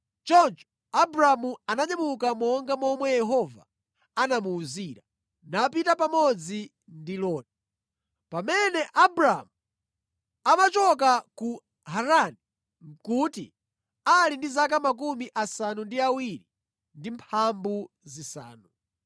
Choncho Abramu ananyamuka monga momwe Yehova anamuwuzira, napita pamodzi ndi Loti. Pamene Abramu amachoka ku Harani nʼkuti ali ndi zaka 75.